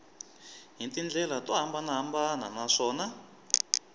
hi tindlela to hambanahambana naswona